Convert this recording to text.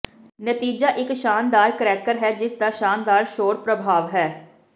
ਨਤੀਜਾ ਇੱਕ ਸ਼ਾਨਦਾਰ ਕਰੈਕਰ ਹੈ ਜਿਸਦਾ ਸ਼ਾਨਦਾਰ ਸ਼ੋਰ ਪ੍ਰਭਾਵ ਹੈ